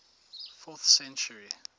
fourth century